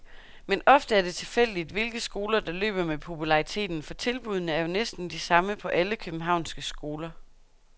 Men ofte er det tilfældigt, hvilke skoler der løber med populariteten, for tilbuddene er jo næsten de samme på alle københavnske skoler.